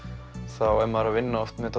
þá er maður að vinna oft með